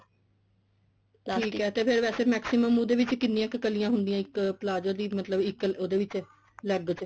ਠੀਕ ਐ ਤੇ ਫੇਰ ਵੈਸੇ maximum ਉਹਦੇ ਚ ਕਿੰਨੀਆ ਕੱਲੀਆ ਹੁੰਦੀਆਂ ਇੱਕ palazzo ਦੀ ਮਤਲਬ ਇੱਕ ਉਹਦੇ ਵਿੱਚ leg ਚ